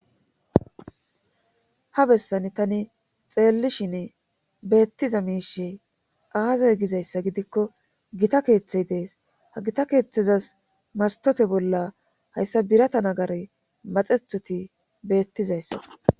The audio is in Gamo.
ha bessan tani xeellishin beettiza miishe aazay gizayssa gidikko gita keeththey dees ha gita keeththezas martote bolla hayssa birata nagare maxethoti beettizayssako